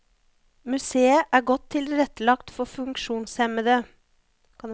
Museet er godt tilrettelagt for funksjonshemmede.